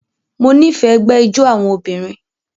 Mo nifẹ ẹgbẹ ijó awọn obinrin